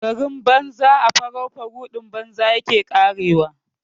Garin banza a faraufaruɗin banza yake ƙarewa.